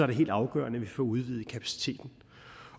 det helt afgørende at vi får udvidet kapaciteten